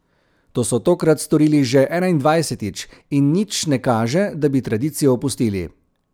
To so tokrat storili že enaindvajsetič in nič ne kaže, da bi tradicijo opustili.